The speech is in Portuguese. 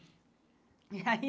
E aí...